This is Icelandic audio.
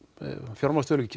fjármálastöðugleika